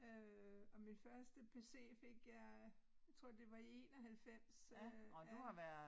Øh og min første pc fik jeg tror det var i 91 øh ja